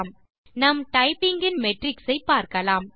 நம் டைப்பிங் இன் மெட்ரிக்ஸ் ஐ பார்க்கலாம்